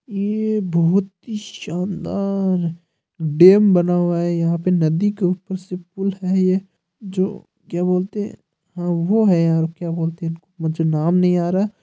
ये बोहोत ही शानदार डैम बना हुआ है यहा पे नदी के ऊपर से पुल है ये जो क्या बोलते है हा वो है यार क्या बोलते है मुझे नाम नहीं आ रहा।